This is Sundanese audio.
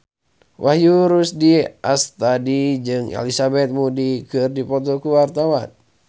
Wahyu Rudi Astadi jeung Elizabeth Moody keur dipoto ku wartawan